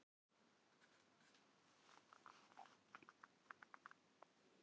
Samson, hvað er á innkaupalistanum mínum?